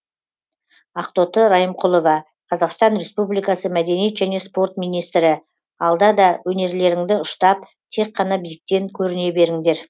ақтоты райымқұлова қазақстан республикасы мәдениет және спорт министрі алда да өнерлеріңді ұштап тек қана биіктен көріне беріңдер